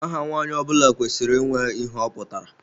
Aha Nwa nwanyị ọbula kwesịrị ịnwe ihe ọ pụtara.